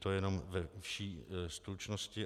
To jenom ve vší stručnosti.